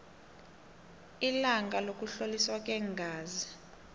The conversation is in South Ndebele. ilanga lokuhloliswa kweengazi